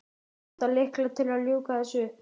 Vantar lykla til að ljúka þessu upp.